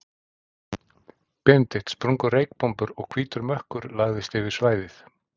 Benedikt, sprungu reykbombur og hvítur mökkur lagðist yfir svæðið.